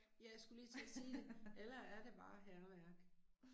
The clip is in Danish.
Ja jeg skulle lige til at sige det. Eller er det bare hærværk